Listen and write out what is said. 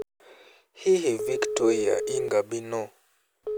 Hihi Victoire Ingabire nũ?